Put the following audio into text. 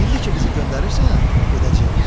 İndi ki bizi göndərirsən, gedəcəyik.